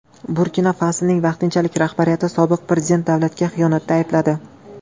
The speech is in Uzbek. Burkina-Fasoning vaqtinchalik rahbariyati sobiq prezidentni davlatga xiyonatda aybladi.